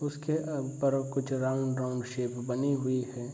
उसके अव ऊपर कुछ राउंड - राउंड शेप बनी हुई है |